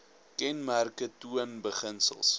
kenmerke toon beginsels